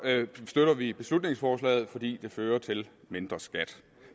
støtter vi beslutningsforslaget fordi det fører til mindre skat